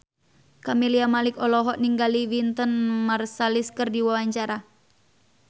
Camelia Malik olohok ningali Wynton Marsalis keur diwawancara